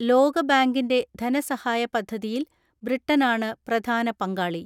ലോകബാങ്കിന്റെ ധനസഹായ പദ്ധതിയിൽ ബ്രിട്ടനാണ് പ്രധാന പങ്കാളി.